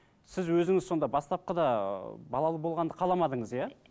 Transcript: сіз өзіңіз сонда бастапқыда ыыы балалы болғанды қаламадыңыз иә